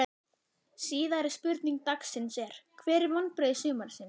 Síðari spurning dagsins er: Hver eru vonbrigði sumarsins?